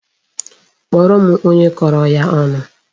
Kpọọrọ m onye kọrọ ya ọnụ!